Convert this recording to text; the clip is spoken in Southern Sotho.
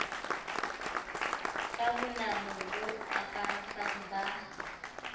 ka bonamo bo akaratsang ba